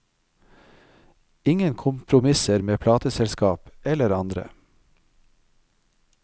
Ingen kompromisser med plateselskap eller andre.